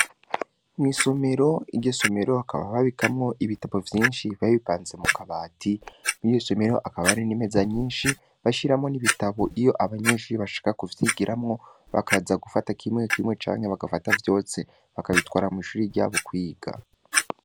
Mw'Isomero, iryo somero hakaba babikamwo ibitabo vyishi, Biba bipanze mikabati, mwiryi somero hakaba hari nimeza nyishi, bigiramwo n'ibitabo iyo abanyeshure bashaka kuvyigiramwo, Bakaza gufata kimwe kimwe canke bakabifata vyose bakabitwara mw'ishure ryabo kwiga.